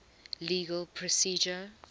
legal procedure